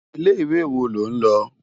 Ilé iwé wó ló n lo?